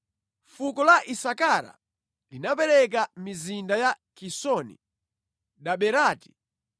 Fuko la Isakara linapereka mizinda ya Kisoni, Daberati,